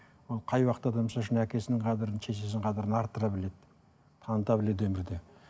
ол қай уақытта да әкесінің қадірін шешесінің қадірін арттыра біледі таныта біледі өмірде